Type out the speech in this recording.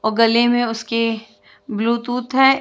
और गले में उसके ब्लूतूथ है।